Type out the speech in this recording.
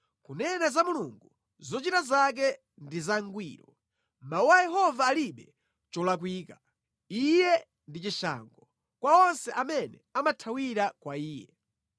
Kunena za Mulungu, zochita zake ndi zangwiro; mawu a Yehova alibe cholakwika. Iye ndi chishango kwa onse amene amathawira kwa Iye.